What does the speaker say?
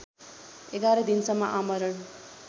११ दिनसम्म आमरण